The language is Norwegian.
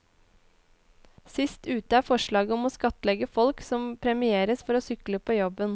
Sist ute er forslaget om å skattlegge folk som premieres for å sykle på jobben.